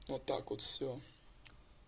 вот так вот всё